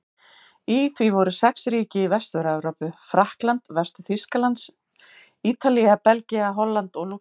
Í því voru sex ríki í Vestur-Evrópu: Frakkland, Vestur-Þýskaland, Ítalía, Belgía, Holland og Lúxemborg.